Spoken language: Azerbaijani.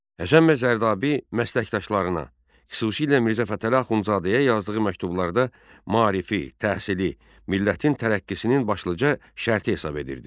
Həsən bəy Zərdabi məsləkdaşlarına, xüsusilə Mirzə Fətəli Axundzadəyə yazdığı məktublarda maarifi, təhsili, millətin tərəqqisinin başlıca şərti hesab edirdi.